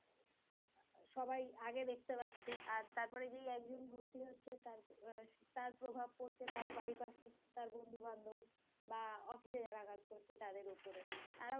সবাই আগে দেখতে পাচ্ছে আর তারপরে যে একজন ভর্তি হচ্ছে তার~ তার প্রভাব পড়ছে তার পারিপার্শ্বিক তার বন্ধু-বান্ধব বাহঃ অফিস এ যারা কাজ করছে তাদের উপরে